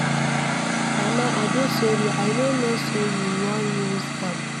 Mama I dey sorry I no know say you wan use am.